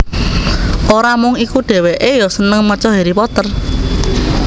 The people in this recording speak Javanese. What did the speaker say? Ora mung iku dhèwèkè ya seneng maca Harry Potter